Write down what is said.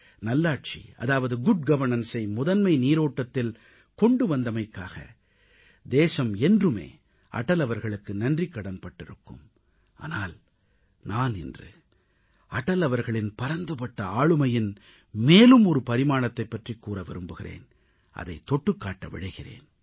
நல்லாட்சி அதாவது குட் governanceஐ முதன்மை நீரோட்டத்தில் கொண்டு வந்தமைக்காக தேசம் என்றுமே அடல் அவர்களுக்கு நன்றிக்கடன் பட்டிருக்கும் ஆனால் நான் இன்று அடல் அவர்களின் பரந்துபட்ட ஆளுமையின் மேலும் ஒரு பரிமாணத்தைப் பற்றிக் கூற விரும்புகிறேன் அதைத் தொட்டுக் காட்ட விழைகிறேன்